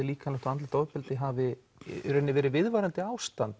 líkamlegt ofbeldi hafi verið viðvarandi ástand